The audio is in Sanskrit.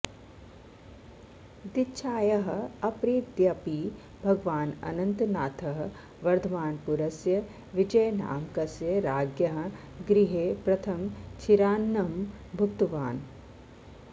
दीक्षायाः अपरेद्यपि भगवान् अनन्तनाथः वर्धमानपुरस्य विजयनामकस्य राज्ञः गृहे प्रथमं क्षीरान्नं भुक्तवान्